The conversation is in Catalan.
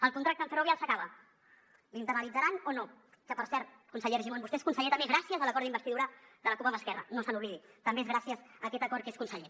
el contracte amb ferrovial s’acaba l’internalitzaran o no que per cert conseller argimon vostè és conseller també gràcies a l’acord d’investidura de la cup amb esquerra no se n’oblidi també és gràcies a aquest acord que és conseller